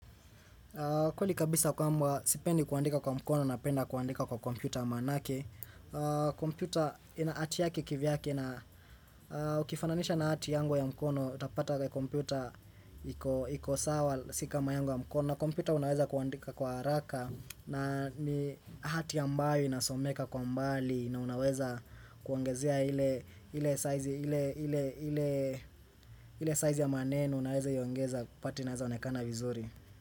Kweli kabisa kwamba sipendi kuandika kwa mkono napenda kuandika kwa kompyuta manake kompyuta ina hati yaki kivyake na ukifananisha na hati yangu ya mkono utapata kompyuta iko sawa si kama yangy ya mkono. Na kompyuta unaweza kuandika kwa haraka na hati ambayo inasomeka kwa mbali na unaweza kuongezea ile size ya maneno unayoweza iongeza pati naweza onekana vizuri.